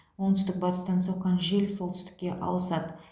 оңтүстік батыстан соққан жел солтүстікке ауысады